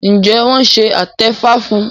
Njé wón ṣe atefa fún?